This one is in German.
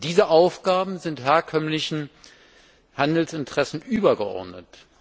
Und diese Aufgaben sind herkömmlichen Handelsinteressen übergeordnet.